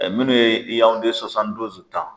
Ɛɛ minnu ye yawunde sosani duzi tan